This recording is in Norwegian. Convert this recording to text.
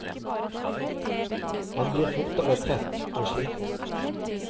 Han blir fortere trett og sliten.